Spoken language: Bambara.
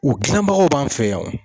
U gilanbagaw b'an fɛ yan wo.